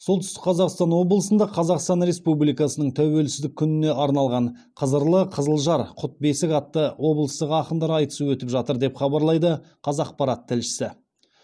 солтүстік қазақстан облысында қазақстан республикасының тәуелсіздік күніне арналған қызырлы қызылжар құт бесік атты облыстық ақындар айтысы өтіп жатыр деп хабарлайды қазақпарат тілшісі